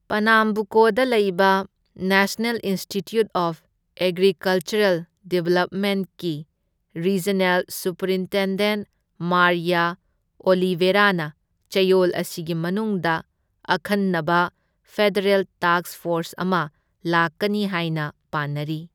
ꯄꯅꯥꯝꯕꯨꯀꯣꯗ ꯂꯩꯕ national institute of agricultural ꯗꯦꯕꯂꯞꯃꯦꯟꯠꯀꯤ regional superintendent Maria ꯑꯣꯂꯤꯚꯦꯔꯥꯅ ꯆꯌꯣꯜ ꯑꯁꯤꯒꯤ ꯃꯅꯨꯡꯗ ꯑꯈꯟꯅꯕ ꯐꯦꯗꯔꯦꯜ ꯇꯥꯛꯁ ꯐꯣꯔꯁ ꯑꯃ ꯂꯥꯛꯀꯅꯤ ꯍꯥꯢꯅ ꯄꯥꯅꯔꯤ꯫